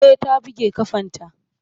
E, ta buge ƙafanta.